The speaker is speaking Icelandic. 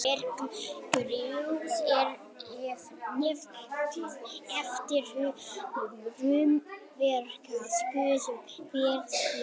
merkúríus er nefnd eftir hinum rómverska guði verslunar